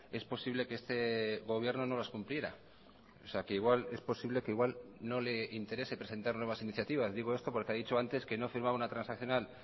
es posible que este gobierno no las cumpliera o sea que igual es posible que igual no le interese presentar nuevas iniciativas digo esto porque ha dicho antes que no firmaba una transaccional